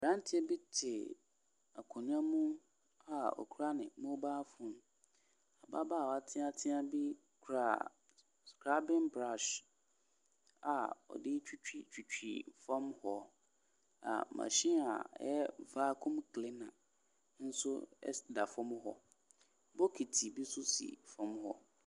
Aberanteɛ te akonnwa mu a okura ne mobile phone, ababaawa teatea bi kura scrubbing brush a ɔde retwitwi fam hɔ, na machine a ɛyɛ vacuum cleaner nso ɛsi da fam hɔ, bokiti nso si fam hɔ.